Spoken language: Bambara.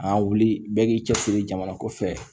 An wuli bɛɛ k'i cɛsiri jamana ko fɛ